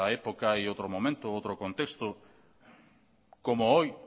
época y otro momento otro contexto como hoy